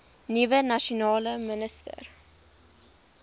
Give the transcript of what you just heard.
nuwe nasionale minister